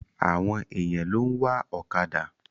Àwọn èyàn ló ń wa ọ̀kàdà.